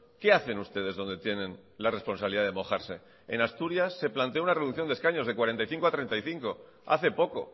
qué hacen ustedes donde tienen la responsabilidad de mojarse en asturias se planteó una reducción de escaños de cuarenta y cinco a treinta y cinco hace poco